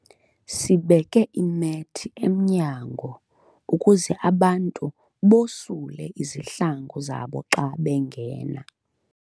Sibeke imethi emnyango ukuze abantu basule izihlangu zabo xa bengena.